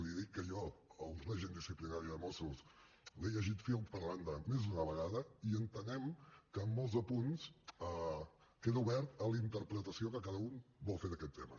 li dic que jo el règim disciplinari de mossos l’he llegit fil per randa més d’una vegada i entenem que en molts punts queda obert a la interpretació que cada un vol fer d’aquest tema